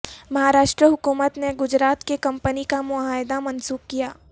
مہاراشٹرا حکومت نے گجرات کی کمپنی کا معاہدہ منسوخ کیا